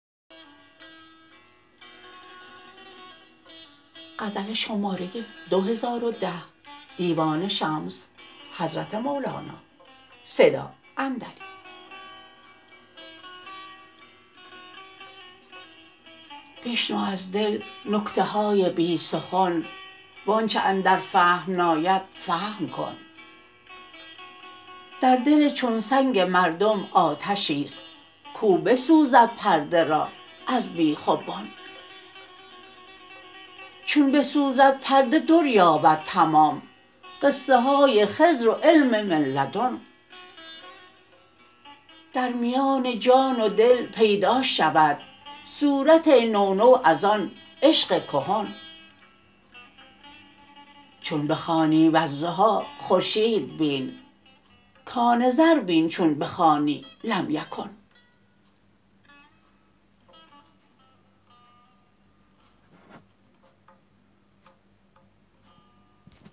بشنو از دل نکته های بی سخن و آنچ اندر فهم ناید فهم کن در دل چون سنگ مردم آتشی است کو بسوزد پرده را از بیخ و بن چون بسوزد پرده دریابد تمام قصه های خضر و علم من لدن در میان جان و دل پیدا شود صورت نو نو از آن عشق کهن چون بخوانی والضحی خورشید بین کان زر بین چون بخوانی لم یکن